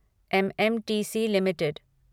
MMTC limited